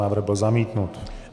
Návrh byl zamítnut.